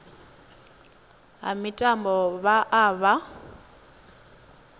ha mitambo vha o vha